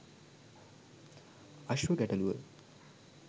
අශ්ව ගැටලුව